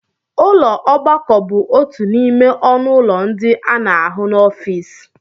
Ụlọ ogbakọ bụ otu n'ime ọnụ ụlọ ndị a na-ahụ n'ọfịs